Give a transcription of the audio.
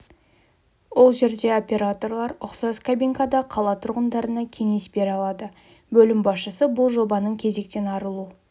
ол жерде операторлар ұқсас кабинкада қала тұрғындарына кеңес бере алады бөлім басшысы бұл жобаның кезектен арылу